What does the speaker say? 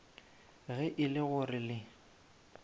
ge e le gore le